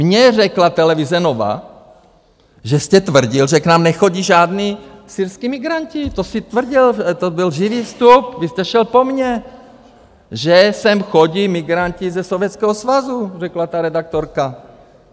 Mně řekla televize Nova, že jste tvrdil, že k nám nechodí žádní syrští migranti - to jste tvrdil, to byl živý vstup, vy jste šel po mně - že sem chodí migranti ze Sovětského svazu, řekla ta redaktorka.